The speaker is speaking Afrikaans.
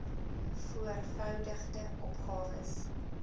voor voudigde opgawes